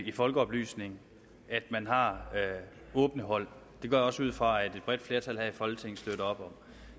i folkeoplysning at man har åbne hold det går jeg også ud fra at et bredt flertal her i folketinget støtter op om